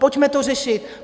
Pojďme to řešit.